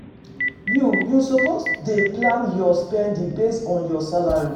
You you suppose dey plan your spending based on your salary.